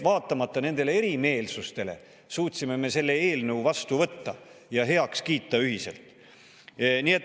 Vaatamata nendele erimeelsustele suutsime me selle eelnõu vastu võtta ja ühiselt heaks kiita.